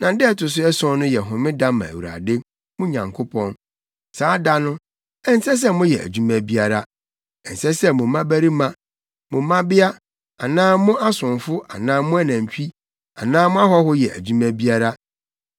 na da a ɛto so ason no yɛ homeda ma Awurade, mo Nyankopɔn. Saa da no, ɛnsɛ sɛ moyɛ adwuma biara; ɛnsɛ sɛ mo mmabarima, mo mmabea anaa mo asomfo anaa mo anantwi anaa mo ahɔho yɛ adwuma biara.